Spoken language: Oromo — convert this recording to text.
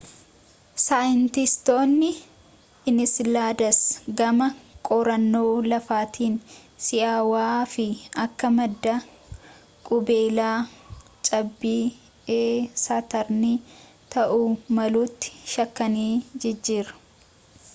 saayintistoonni ensiladas gama qorannoo lafaatiin si'aawaa fi akka madda qubeelaa cabbii e saatarnii ta'uu maluutti shakkanii jjir